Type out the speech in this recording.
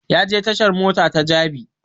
Ya je tashan mota ta jabi